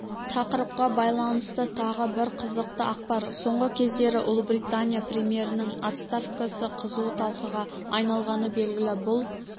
тақырыпқа байланысты тағы бір қызықты ақпар соңғы кездері ұлыбритания премьерінің отставкасы қызу талқыға айналғаны белгілі бұл